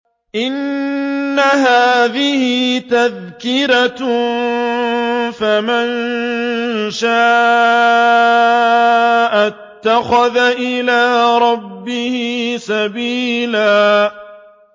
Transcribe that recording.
إِنَّ هَٰذِهِ تَذْكِرَةٌ ۖ فَمَن شَاءَ اتَّخَذَ إِلَىٰ رَبِّهِ سَبِيلًا